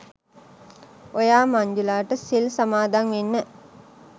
ඔයා මංජුලට සිල් සමාදන් වෙන්න